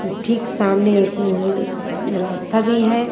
ठीक सामने एक रर रास्ता भी है।